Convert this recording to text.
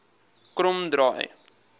kromdraai